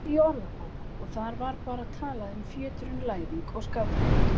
Ég kíkti í orðabók og þar var bara talað um fjöturinn Læðing og skafrenning.